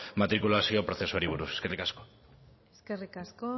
matrikulazio prozesuari buruz eskerrik asko eskerrik asko